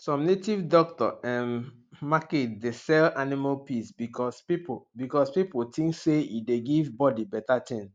some native doctor um market dey sell animal piss because pipu because pipu think say e dey give bodi better ting